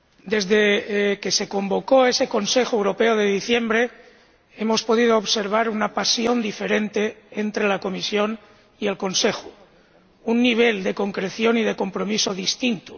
Desde que se convocó ese Consejo Europeo de diciembre, hemos podido observar una pasión diferente entre la Comisión y el Consejo, un nivel de concreción y de compromiso distinto.